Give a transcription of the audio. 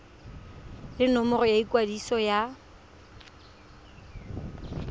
le nomoro ya ikwadiso ya